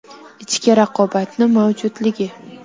Ichki raqobatni mavjudligi .